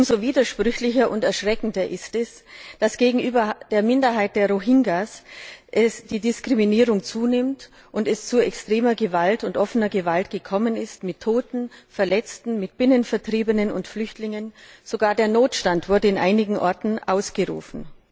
Umso widersprüchlicher und erschreckender ist es, dass gegenüber der Minderheit der Rohingyas die Diskriminierung zunimmt und es zu extremer und offener Gewalt gekommen ist, mit Toten, Verletzten, Binnenvertriebenen und Flüchtlingen. Sogar der Notstand wurde in einigen Orten ausgerufen.